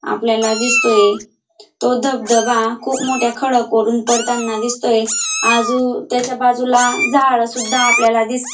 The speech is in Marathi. आपल्याला दिसतोय तो धबधबा खूप मोठ्या खडकवरून पडताना दिसतोय आजू त्याच्या बाजूला झाड सुद्धा आपल्याला दिसता--